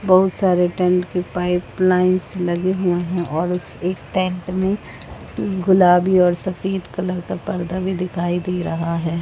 बहुत सारे टेंट के पाइप लाइन्स लगे हुए हैं और उस एक टेंट में गुलाबी और सफ़ेद कलर का पर्दा भी दिखाई दे रहा है।